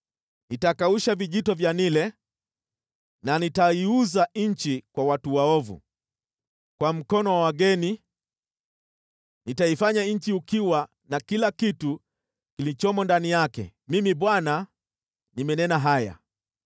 Nitakausha vijito vya Naili na nitaiuza nchi kwa watu waovu, kwa mkono wa wageni, nitaifanya nchi ukiwa na kila kitu kilichomo ndani yake. Mimi Bwana nimenena haya.